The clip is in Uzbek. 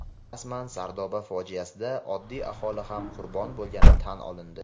Rasman: "Sardoba fojiasi"da oddiy aholi ham qurbon bo‘lgani tan olindi.